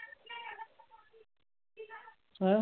ਅੱਛਾ।